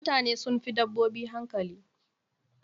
Mutane sun fi dabbobi hankali.